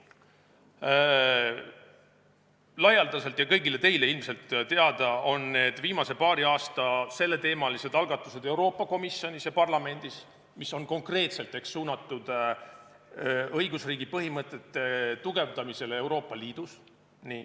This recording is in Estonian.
Laialdaselt ja kõigile teile on ilmselt teada viimase paari aasta selleteemalised algatused Euroopa Komisjonis ja Euroopa Parlamendis, mis on konkreetselt suunatud õigusriigi põhimõtete tugevdamisele Euroopa Liidus.